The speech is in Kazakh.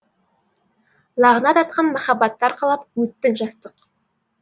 лағнат артқан махаббатты арқалап өттің жастық